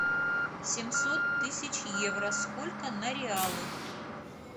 семьсот тысяч евро сколько на реалы